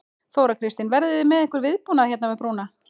Þóra Kristín: Verðið þið með einhvern viðbúnað hérna við brúna?